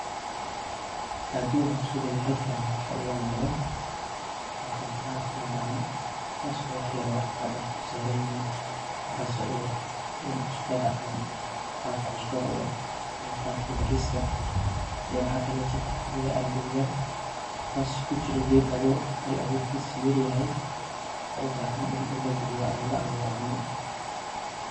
Hadhii an iskudayo halkani waxa igamugdo, hrto waxan ark gacan taas oo wax yar oo cadcad dulsaranyixin, waxas o uyar eg cusbada camal, muqaalka bariska, iyo waxa kalete an kuarkaya andowyal, kas kujiri geed awur ah, hal aburkisa yar yaxay, oo ubaxan in lagaliyo laawuro camal.